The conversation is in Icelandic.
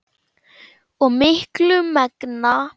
og miklu megna.